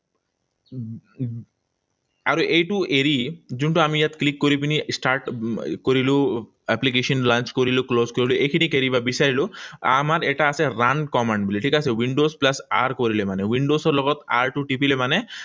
আৰু এইটো এৰি যোনটো আমি ইয়াত click কৰি পিনি start কৰিলো, application launch কৰিলো, close কৰিলো, এইখিনিক এৰিব বিছাৰিলো। আমাৰ এটা আছে run command বুলি, ঠিক আছে? Windows plus R কৰিলে মানে, windows ৰ লগত R টো টিপিলে মানে